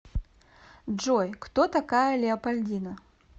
джой кто такая леопольдина